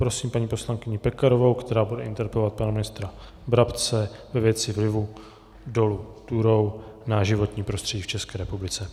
Prosím paní poslankyni Pekarovou, která bude interpelovat pana ministra Brabce ve věci vlivu dolu Turów na životní prostředí v České republice.